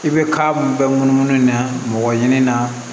I bɛ ka mun bɛɛ munumunu na mɔgɔ ɲini na